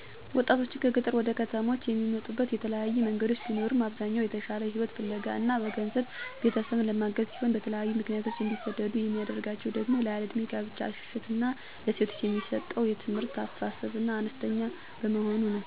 ወጣቶችን ከገጠር ወደ ከተሞች የሚመጡበት የተለያዩ መንገዶች ቢኖርም አብዛኛው የተሻለ ህይወት ፍለጋ እና በገንዘብ ቤተሰብን ለማገዝ ሲሆን በተለያዬ ምክንያት እንዲሰደዱ የሚያደርጋቸው ደሞ ያለእድሜ ጋብቻ ሽሽት እና ለሴቶች የሚሰጠው የትምህርት አስተሳሰብ አነስተኛ በመሆኑ ነው።